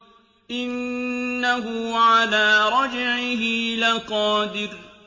إِنَّهُ عَلَىٰ رَجْعِهِ لَقَادِرٌ